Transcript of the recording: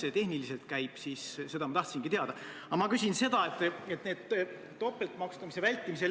Eile selgus, et nad ei ole asjast üldse teadlikudki, rääkimata sellest, et neil oleks aega olnud seda arutada.